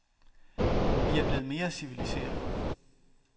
Vi er blevet mere civiliserede.